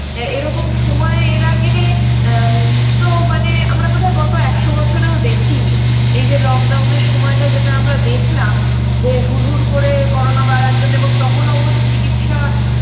এ এরকম সময়ে এর আগে আ তো মানে আমরা বোধহয় গত একশো বছরেও দেখিনি এই যে lock down -এর সময়টা যেটা আমরা দেখলাম যে হুরহুর করে করোনা বাড়ার জন্যে এবং তখন অবশ্য চিকিৎসা